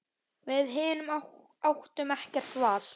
Við hin áttum ekkert val.